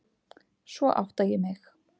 Svo átta ég mig.